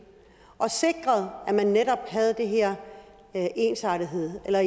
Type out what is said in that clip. og sikret at man netop havde den her ensartethed eller